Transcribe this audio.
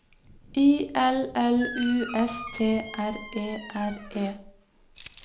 I L L U S T R E R E